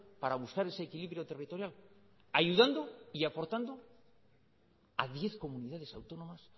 para buscar ese equilibrio territorial ayudando y aportando a diez comunidades autónomas